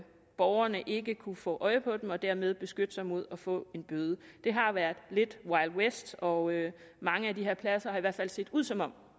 borgerne ikke kunne få øje på dem og derved beskytte sig mod at få en bøde det har været lidt wild west og mange af de her pladser har i hvert fald set ud som om